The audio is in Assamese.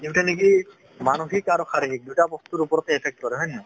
মানসিক আৰু শাৰীৰিক দুইটাই বস্তুৰ ওপৰতে effect কৰে হয় নে নহয়?